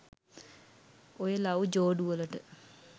ඔය ලව් ජෝඩු වලට